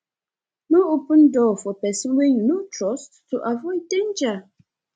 no open door for person wey you no trust to avoid danger